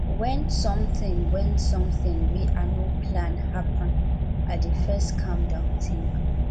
wen sometin wen sometin wey i no plan happen i dey first calm down tink